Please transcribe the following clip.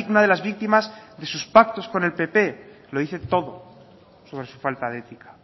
una de las víctimas de sus pactos con el pp lo dice todo sobre su falta de ética